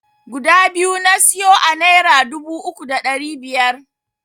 Guda biyu na siyo a naira dubu uku da ɗari biyar.